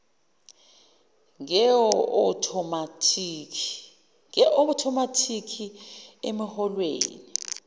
nge othomathikhi emiholweni